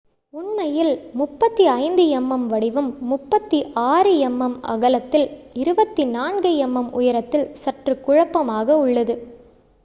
உண்மையில் 35 mm வடிவம் 36 mm அகலத்தில் 24 mm உயரத்தில் சற்று குழப்பமாக உள்ளது